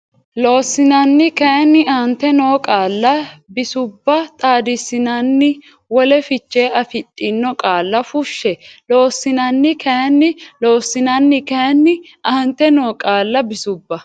Loossinanni kayinni aante noo qaalla bisubba xaadissinanni wole fiche afidhino qaalla fushshe Loossinanni kayinni Loossinanni kayinni aante noo qaalla bisubba.